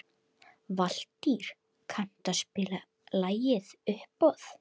Valtýr, kanntu að spila lagið „Uppboð“?